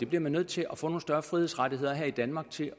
bliver nødt til at få nogle større frihedsrettigheder her i danmark til